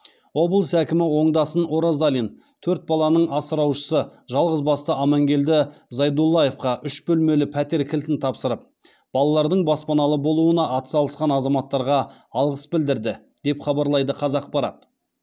облыс әкімі оңдасын оразалин төрт баланың асыраушысы жалғызбасты амангелді зайдуллаевқа үш бөлмелі пәтер кілтін тапсырып балалардың баспаналы болуына атсалысқан азаматтарға алғыс білдірді деп хабарлайды қазақпарат